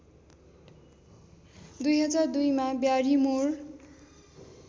२००२ मा ब्यारिमोर